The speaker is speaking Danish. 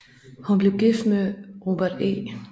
Hun blev gift med Robert E